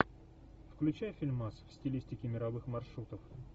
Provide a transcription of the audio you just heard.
включай фильмас в стилистике мировых маршрутов